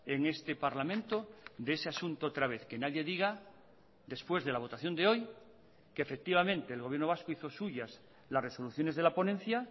en este parlamento de ese asunto otra vez que nadie diga después de la votación de hoy que efectivamente el gobierno vasco hizo suyas las resoluciones de la ponencia